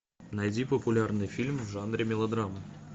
найди популярный фильм в жанре мелодрама